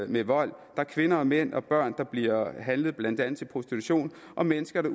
med vold der er kvinder og mænd og børn der bliver handlet blandt andet til prostitution og mennesker